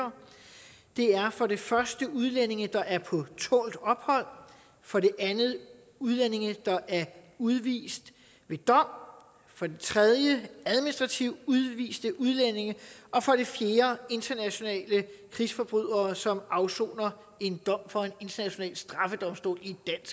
for det første udlændinge der er på tålt ophold for det andet udlændinge der er udvist ved dom for det tredje administrativt udviste udlændinge og for det fjerde international krigsforbrydere som og afsoner en dom fra en international straffedomstol